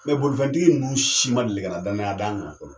bolifɛntigi ninnu si ma deli ka na danaya d'an kan fɔlɔ